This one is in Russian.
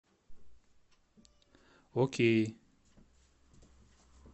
окей